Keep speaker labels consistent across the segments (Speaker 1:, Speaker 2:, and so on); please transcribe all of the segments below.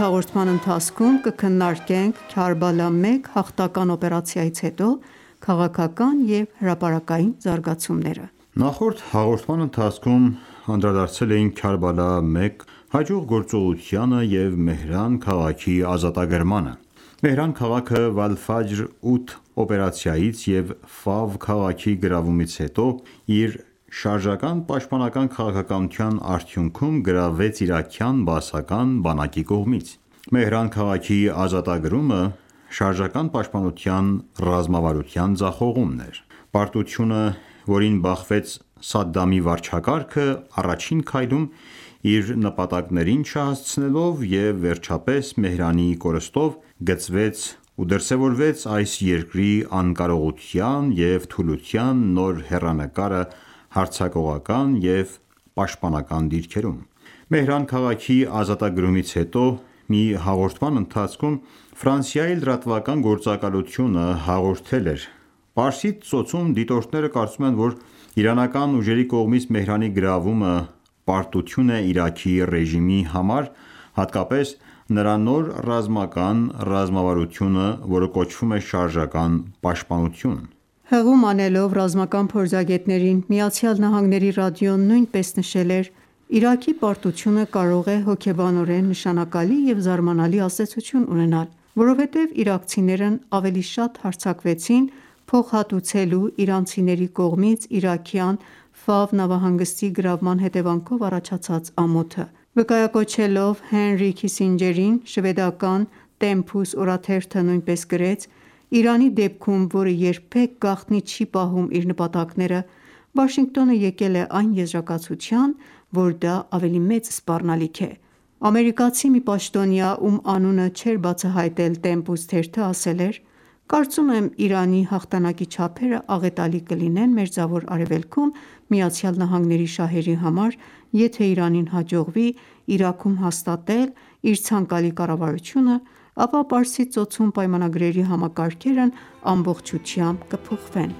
Speaker 1: հաղորդման ընթացքում կքննարկենք «Քարբալա-1» հաղթական օպերացիայից հետո քաղաքական և հրապարակային զարգացումները։
Speaker 2: Նախորդ հաղորդման ընթացքում անդրադարձել էինք Քերբալա 1 հաջող գործողությանը և Մեհրան քաղաքի ազատագրմանը։ Մեհրան քաղաքը «Վալֆաջր 8» օպերացիայից և Ֆավ քաղաքի գրավումից հետո իր շարժական պաշտպանական քաղաքականության արդյուքնում գրավվեց իրաքյան բաասական բանակի կողմից: Մեհրան քաղաքի ազատագրումը շարժական պաշտպանության ռազմավարության ձախողումն էր։ Պարտությունը, որին բախվեց Սադամի վարչակարգը առաջին քայլում՝ իր նպատակներին չհասցնելով, և վերջապես Մեհրանի կորստով, գծվեց ու դրսևորվեց այս երկրի անկարողության և թուլության նոր հեռանկարը հարձակողական և պաշտպանական դիրքերում։ Մեհրան քաղաքի ազատագրումից հետո մի հաղորդման ընթացքում Ֆրանսիայի լրատվական գործակալությունը հաղորդել էր.«Պարսից ծոցում դիտորդները կարծում են, որ իրանական ուժերի կողմից Մեհրանի գրավումը պարտություն է Իրաքի ռեժիմի համար, հատկապես նրա նոր ռազմական ռազմավարությունը, որը կոչվում է շարժական պաշտպանություն»:
Speaker 1: Հղում անելով ռազմական փորձագետներին ԱՄՆ-ի ռադիոն նույնպես նշել էր.«Իրաքի պարտությունը կարող է հոգեբանորեն նշանակալի և զարմանալի ազդեցություն ունենալ, որովհետեւ իրաքցիները ավելի շատ հարձակվեցին՝ փոխհատուցելու իրանցիների կողմից իրաքյան Ֆավ նավահանգստի գրավման հետեւանքով առաջացած ամոթը»։ Վկայակոչելով Հենրի Քիսիջերին շվեդական Տեմփուս օրաթերթը նույնպես գրեց.«Իրանի դեպքում, որը երբեք գաղտնի չի պահում իր նպատակները, Վաշինգտոնը եկել է այն եզրակացության, որ դա ավելի մեծ սպառնալիք է»: Ամերիկացի մի պաշտոնյա, ում անունը չէր բացահայտել «Տեմպուս» թերթը, ասել էր.«Կարծում եմ՝ Իրանի հաղթանակի չափերը աղետալի կլինեն Մերձավոր Արևելքում ԱՄՆ շահերի համար, եթե ​​Իրանին հաջողվի Իրաքում հաստատել իր ցանկալի կառավարությունը, ապա Պարսից Ծոցում պայմանագրերի համակարգերն ամբողջությամբ կփոխվեն»։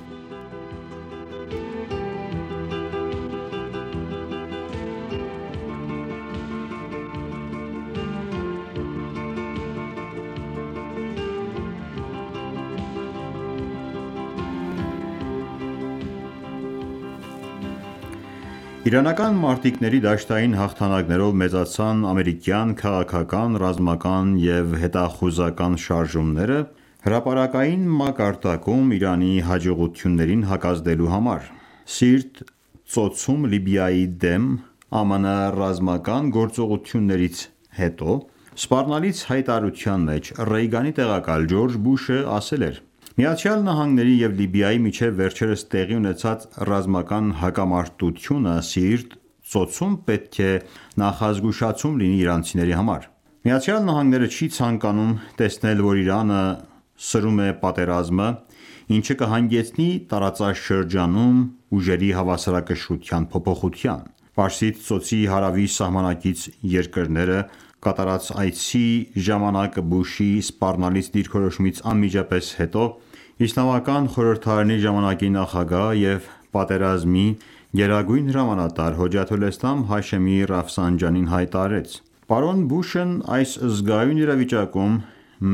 Speaker 2: Իրանական մարտիկների դաշտային հաղթանակներով մեծացան ամերիկյան քաղաքական, ռազմական և հետախուզական շարժումները՝ հրապարակային մակարդակում Իրանի հաջողություններին հակազդելու համար։ Սիրտ ծոցում Լիբիայի դեմ ԱՄՆ ռազմական գործողությունից հետո սպառնալից հայտարարության մեջ Ռեյգանի տեղակալ Ջորջ Բուշը ասել էր.«ԱՄՆ-ի և Լիբիայի միջև վերջերս տեղի ունեցած ռազմական հակամարտությունը Սիրտ ծոցում պետք է նախազգուշացում լինի իրանցիների համար: ԱՄՆ-ն չի ցանկանում տեսնել, որ Իրանը սրում է պատերազմը, ինչը կհանգեցնի տարածաշրջանում ուժերի հավասարակշռության փոփոխության»: Պարսից ծոցի հարավի սահմանակից երկրներ կատարած այցի ժամանակ Բուշի սպառնալից դիրքորոշումից անմիջապես հետո Իսլամական Խորհրդի ժամանակի նախագահ և պատերազմի գերագույն հրամանատար Հոջաթոլէսլամ Հաշեմի Ռաֆսանջանին հայտարարեց.«Պարոն Բուշն այս զգայուն իրավիճակում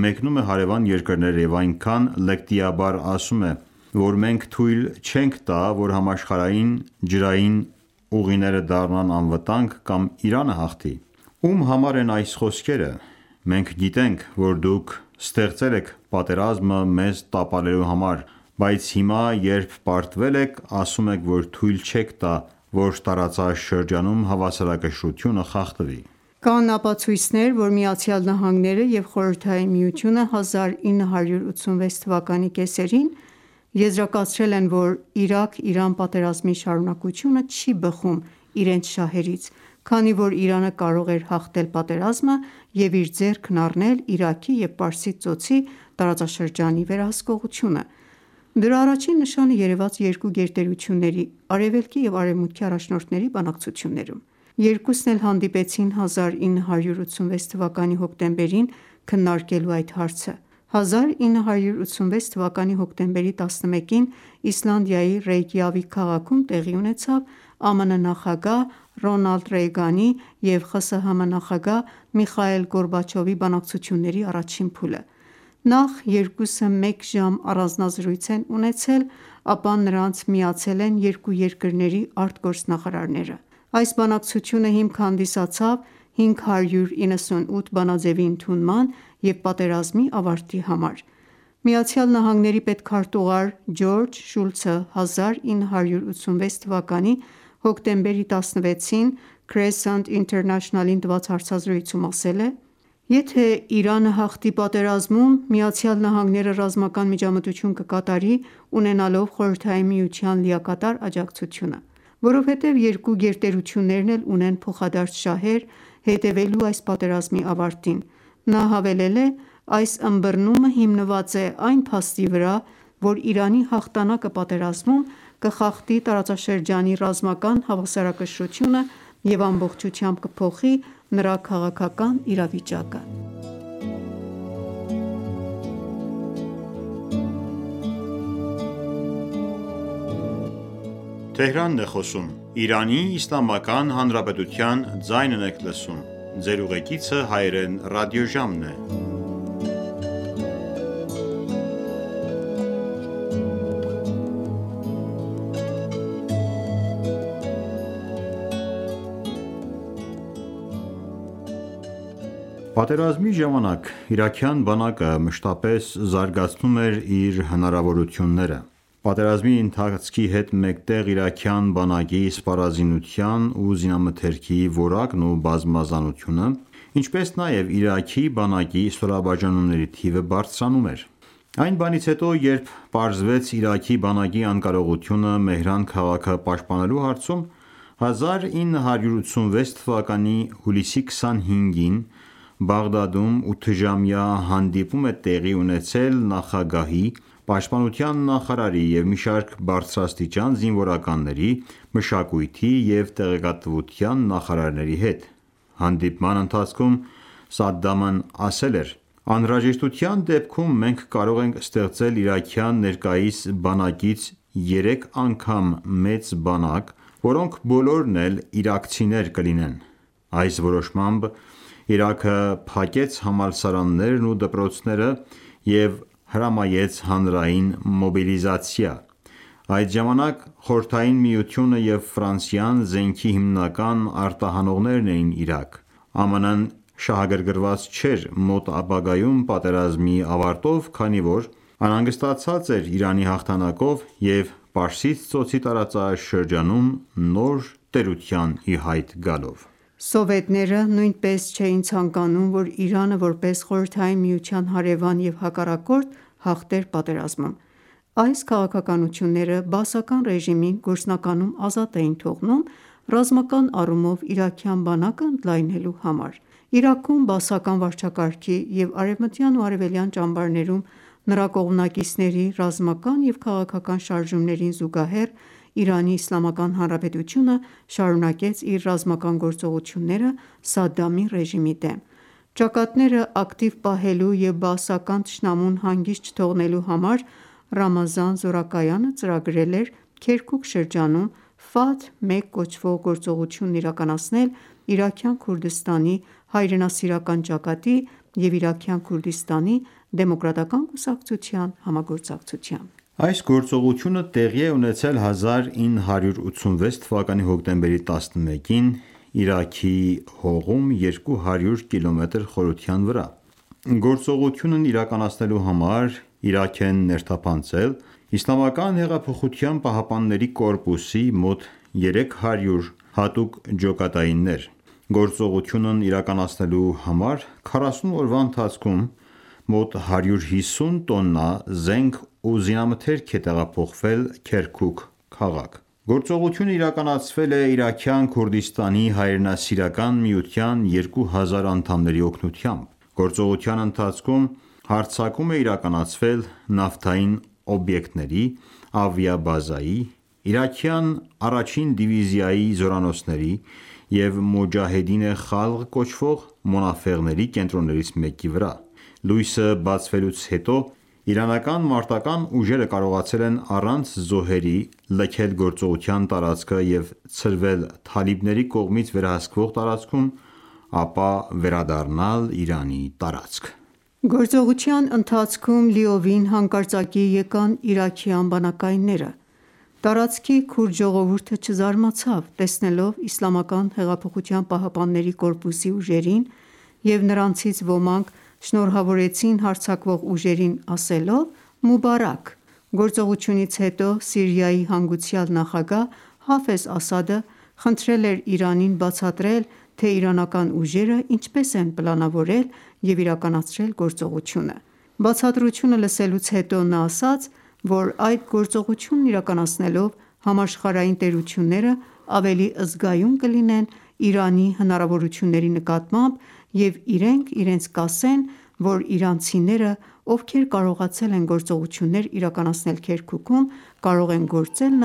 Speaker 2: մեկնում է հարևան երկրներ և այնքան լկտիաբար ասում է, որ մենք թույլ չենք տա, որ համաշխարհային ջրային ուղիները դառնան անվտանգ կամ Իրանը հաղթի: Ո՞ւմ համար են այս խոսքերը: Մենք գիտենք, որ դուք ստեղծել եք պատերազմը մեզ տապալելու համար, բայց հիմա, երբ պարտվել եք, ասում եք, որ թույլ չենք տա, որ տարածաշրջանում հավասարակշռությունը խախտվի»։
Speaker 1: Կան ապացույցներ, որ Միացյալ Նահանգները և Խորհրդային Միությունը 1986 թվականի կեսերին եզրակացրել են, որ Իրաք-Իրան պատերազմի շարունակությունը չի բխում իրենց շահերից, քանի որ Իրանը կարող էր հաղթել պատերազմը և իր ձեռքն առնել Իրաքի և Պարսից ծոցի տարածաշրջանի վերահսկողությունը: Դրա առաջին նշանը երեւաց երկու գերտերությունների՝ Արեւելքի եւ Արեւմուտքի առաջնորդների բանակցություններում։ Երկուսն էլ հանդիպեցին 1986 թվականի հոկտեմբերին՝ քննարկելու այդ հարցը։ 1986 թվականի հոկտեմբերի 11-ին Իսլանդիայի Ռեյկյավիկ քաղաքում տեղի ունեցավ ԱՄՆ նախագահ Ռոնալդ Ռեյգանի և ԽՍՀՄ նախագահ Միխայիլ Գորբաչովի բանակցությունների առաջին փուլը։ Նախ երկուսը մեկ ժամ առանձնազրույց են ունեցել, ապա նրանց միացել են երկու երկրների արտգործնախարարները։ Այս բանակցությունը հիմք հանդիսացավ 598 բանաձեւի ընդունման եւ պատերազմի ավարտի համար։ ԱՄՆ պետքարտուղար Ջորջ Շուլցը 1986 թվականի հոկտեմբերի 16-ին Crescent International-ին տված հարցազրույցում ասել է.«Եթե ​​Իրանը հաղթի պատերազմում, ԱՄՆ-ը ռազմական միջամտություն կկատարի՝ ունենալով խորհրդային Միության լիակատար աջակցություն: Որովհետև երկու գերտերություններն էլ ունեն փոխադարձ շահեր՝ հետևելու այս պատերազմի ավարտին։ Նա հավելել է.«Այս ըմբռնումը հիմնված է այն փաստի վրա, որ Իրանի հաղթանակը պատերազմում կխախտի տարածաշրջանի ռազմական հավասարակշռությունը և ամբողջությամբ կփոխի նրա քաղաքական իրավիճակը»:
Speaker 2: Պատերազմի ժամանակ իրաքյան բանակը մշտապես զարգացնում էր իր հնարավորությունները։ Պատերազմի ընթացքի հետ մեկտեղ իրաքյան բանակի սպառազինության ու զինամթերքի որակն ու բազմազանությունը, ինչպես նաև Իրաքի բանակի ստորաբաժանումների թիվը բարձրանում էր: Այն բանից հետո ,երբ պարզվեց Իրաքի բանակի անկարողությունը Մեհրան քաղաքը պաշտպանելու հարցում, 1986 թվականի հուլիսի 25-ին Բաղդադում ութժամյա հանդիպում է տեղի ունեցել նախագահի, պաշտպանության նախարարի, մի շարք բարձրաստիճան զինվորականների, մշակույթի և տեղեկատվության նախարարների հետ: Հանդիպման ընթացքում Սադդամն ասել էր.«Անհրաժեշտության դեպքում մենք կարող ենք ստեղծել իրաքյան ներկայիս բանակից երեք անգամ մեծ բանակ, որոնք բոլորն էլ իրաքցիներ կլինեն»: Այս որոշմամբ Իրաքը փակեց համալսարաններն ու դպրոցները և հրամայեց հանրային մոբիլիզացիա։ Այդ ժամանակ Խորհրդային Միությունը և Ֆրանսիան զենքի հիմնական արտահանողներն էին Իրաք։ ԱՄՆ-ը շահագրգռված չէր մոտ ապագայում պատերազմի ավարտով, քանի որ անհանգստացած էր Իրանի հաղթանակով և Պարսից Ծոցի տարածաշրջանում նոր տերության ի հայտ գալով:
Speaker 1: Սովետները նույնպես չէին ցանկանում, որ Իրանը, որպես Խորհրդային Միության հարեւան և հակառակորդ, հաղթեր պատերազմում։ Այս քաղաքականությունները Բաասական ռեժիմին գործնականում ազատ էին թողնում ռազմական առումով իրաքյան բանակը ընդլայնելու համար: Իրաքում Բաասական վարչակարգի և արևմտյան և արևելյան ճամբարներում նրա կողմնակիցների ռազմական և քաղաքական շարժումներին զուգահեռ, ԻԻՀ-ն շարունակեց իր ռազմական գործողությունները Սադամի ռեժիմի դեմ։ Ճակատները ակտիվ պահելու և բաասական թշնամուն հանգիստ չթողնելու համար Ռամազան զորակայանը ծրագրել էր Քերքուք շրջանում «Ֆաթհ 1» կոչվող գործողությունն իրականացնել Իրաքյան Քուրդիստանի Հայրենասիրական ճակատի և Իրաքյան Քուրդիստանի դեմոկրատական​​ կուսակցության համագործակցությամբ:
Speaker 2: Այս գործողությունը տեղի է ունեցել 1986 թվականի հոկտեմբերի 11-ին Իրաքի հողում՝ 200 կմ խորության վրա։ Գործողությունն իրականացնելու համար Իրաք են ներթափանցել ԻՀՊԿ-ի մոտ 300 հատուկ ջոկատայիններ։ Գործողությունն իրականացնելու համար 40 օրվա ընթացքում մոտ 150 տոննա զենք ու զինամթերք է տեղափոխվել Քերքուք քաղաք։ Գործողությունն իրականացվել է Իրաքյան Քուրդիստանի հայրենասիրական միության 2000 անդամների օգնությամբ։ Գործողության ընթացքում հարձակում է իրականացվել նավթային օբյեկտների, ավիաբազայի, իրաքյան առաջին դիվիզիայի զորանոցների և «Մոջահեդին-ե Խալղ» կոչվող Մոնաֆեղների կենտրոններից մեկի վրա: Լույսը բացվելուց հետո իրանական մարտական ​​ուժերը կարողացել են առանց զոհերի լքել գործողության տարածքը և ցրվել թալիբների կողմից վերահսկվող տարածքում, ապա վերադառնալ Իրանի տարածք։
Speaker 1: Գործողության ընթացքում լիովին հանկարծակիի եկան իրաքյան բանակայինները: Տարածքի քուրդ ժողովուրդը չզարմացավ՝ տեսնելով ԻՀՊԿ-ի ուժերին, և նրանցից ոմանք շնորհավորեցին հարձակվող ուժերին՝ ասելով «Մուբարաք»։ Գործողությունից հետո Սիրիայի հանգուցյալ նախագահ Հաֆեզ Ասադը խնդրել էր Իրանին բացատրել, թե իրանական ուժերը ինչպես են պլանավորել և իրականացնել գործողությունը: Բացատրությունը լսելուց հետո նա ասաց, որ այդ գործողությունն իրականացնելով՝ համաշխարհային տերությունները ավելի զգայուն կլինեն Իրանի հնարավորությունների նկատմամբ և իրենք իրենց կասեն, որ իրանցիները, ովքեր կարողացել են գործողություններ իրականացնել Քերքուքում, կարող են գործել